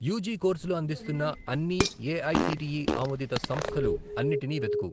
UG కోర్సులు అందిస్తున్న అని ఏఐసిటిఈ ఆమోదిత సంస్థలు అన్నిటిని వెతుకు.